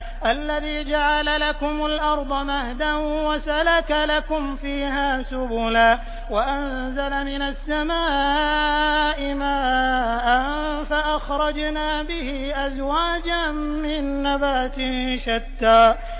الَّذِي جَعَلَ لَكُمُ الْأَرْضَ مَهْدًا وَسَلَكَ لَكُمْ فِيهَا سُبُلًا وَأَنزَلَ مِنَ السَّمَاءِ مَاءً فَأَخْرَجْنَا بِهِ أَزْوَاجًا مِّن نَّبَاتٍ شَتَّىٰ